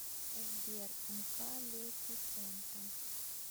сбер мкалефисента